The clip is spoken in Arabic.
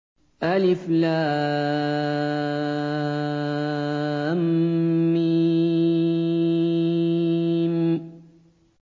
الم